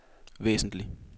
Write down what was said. væsentligt